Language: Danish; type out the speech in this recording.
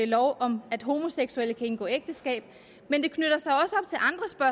loven om at homoseksuelle kan indgå ægteskab men det knytter sig